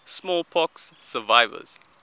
smallpox survivors